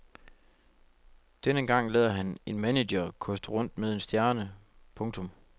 Denne gang lader han en manager koste rundt med en stjerne. punktum